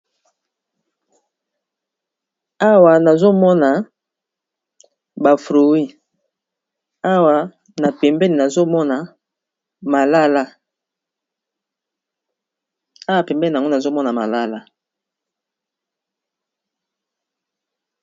Awa nazomona ba fruit, awa pembeni na yango nazomona malala.